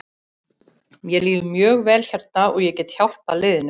Mér líður mjög vel hérna og ég get vel hjálpað liðinu.